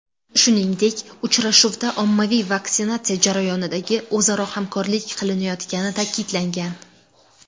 Shuningdek, uchrashuvda ommaviy vaksinatsiya jarayonidagi o‘zaro hamkorlik qilinayotgani ta’kidlangan.